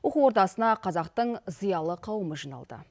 оқу ордасына қазақтың зиялы қауымы жиналды